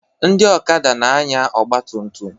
Ndị okada na-anya ọgba tum tum